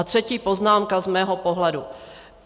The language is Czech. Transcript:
A třetí poznámka z mého pohledu.